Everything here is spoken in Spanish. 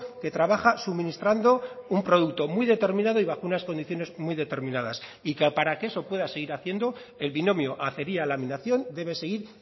que trabaja suministrando un producto muy determinado y bajo unas condiciones muy determinadas y que para que eso pueda seguir haciendo el binomio acería laminación debe seguir